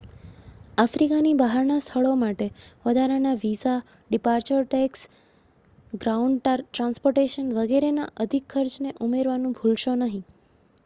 આફ્રિકાની બહારના સ્થળો માટે વધારાના visa departure tax ground transportation વગેરેના અધિક ખર્ચને ઉમેરવાનું ભુલશો નહીં